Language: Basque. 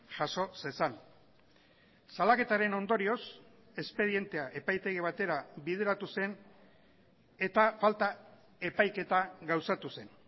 jaso zezan salaketaren ondorioz espedientea epaitegi batera bideratu zen eta falta epaiketa gauzatu zen